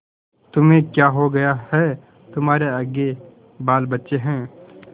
तुम्हें क्या हो गया है तुम्हारे आगे बालबच्चे हैं